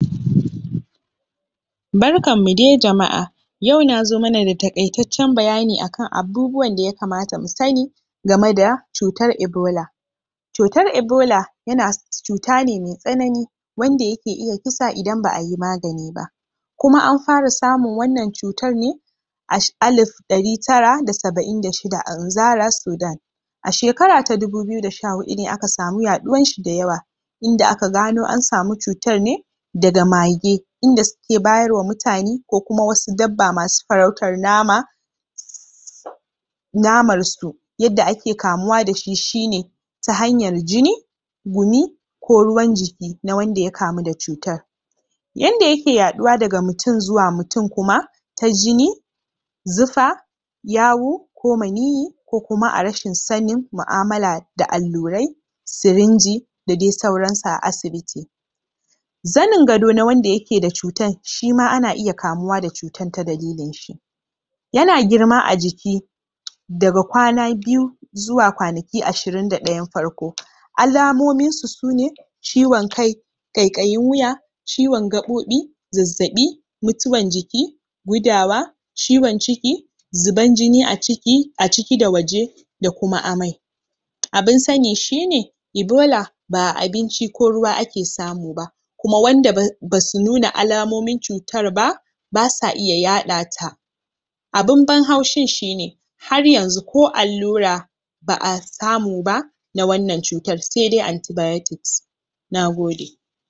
Barkanmu dai jama'a! yau nazo mana da taƙaitaccen bayani akan abubuwan da ya kamata mu sanni gama da cutar ebola cutar ebola yana cuta ne mai tsanani wanda yake iya kisa idan ba'a yi magani ba kuma an fara samun wannan cutar ne ash alif ɗari tara da saba'in da shida a zara sudan a shekara ta dubu biyu da sha huɗu ne aka samu yaɗuwan shi da yawa inda aka gano an samu cutar ne daga mage inda suke bayarwa mutane ko kuma wasu dabba masu farautar nama namar su yanda ake kamuwa dashi shi ne ta hanyar jini gumi ko ruwan jiki na wanda ya kamu da cutar yanda yake yaɗuwa daga mutum zuwa mutum kuma ta jini zufa yawu ko maniyyi ko kuma a rashin sanni mu'amala da allurai sirinji da dai sauran su a asibiti zanin gado na wanda yake da cutan shima ana iya kamuwa da cutan ta dalilin shi yana girma a jiki daga kwana biyu zuwa kwanaki ashirin da ɗayan farko alamomin shi su ne ciwon kai ƙaiƙayin wuya ciwon gaɓoɓi zazzaɓi mutuwan jiki gudawa ciwon ciki zuban jini a ciki a ciki da waje da kuma amai abun sanni shi ne ibola ba'a abinci ko ruwa ake samu ba kuma wanda ba basu nuna alamomin cutar ba basa iya yaɗa ta abun ban haushin shi ne har yanzu ko allura ba'a samu ba na wannan cutar sai dai antibiotics Nagode!